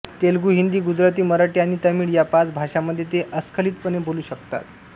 तेलुगू हिंदी गुजराती मराठी आणि तामिळ या पाच भाषांमध्ये ते अस्खलितपणे बोलू शकतात